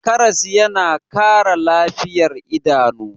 karas yana Kara lafiyar idanu